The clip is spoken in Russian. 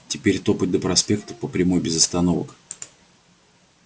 теперь топать до проспекта по прямой без остановок